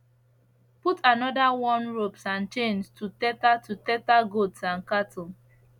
put another worn ropes and chains to tether to tether goats and cattle